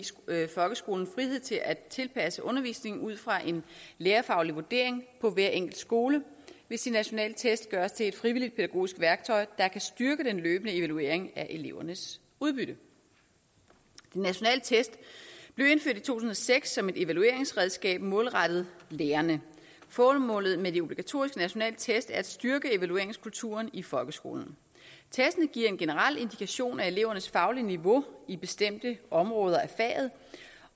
folkeskolen frihed til at tilpasse undervisningen ud fra en lærerfaglig vurdering på hver enkelt skole hvis de nationale test gøres til et frivilligt pædagogisk værktøj der kan styrke den løbende evaluering af elevernes udbytte de nationale test blev indført i to tusind og seks som et evalueringsredskab målrettet lærerne formålet med de obligatoriske nationale test er at styrke evalueringskulturen i folkeskolen testene giver en generel indikation af elevernes faglige niveau i bestemte områder af faget